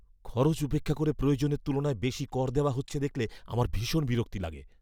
খরচ উপেক্ষা করে প্রয়োজনের তুলনায় বেশি কর দেওয়া হচ্ছে দেখলে আমার ভীষণ বিরক্তি লাগে।